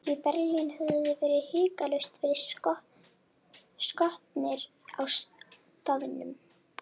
Í Berlín hefðuð þið hiklaust verið skotnir á staðnum.